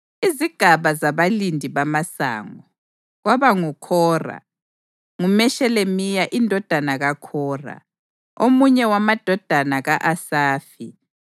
Izigaba zabalindi bamasango: KwabakoKhora: kunguMeshelemiya indodana kaKhora, omunye wamadodana ka-Asafi.